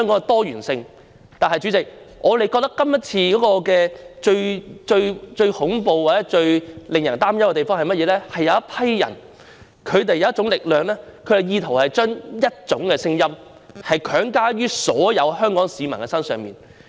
但是，主席，我們覺得這次選舉最恐怖、最令人擔憂的地方，是有一群人、有一種力量......他們意圖將一種聲音強加於所有香港市民身上。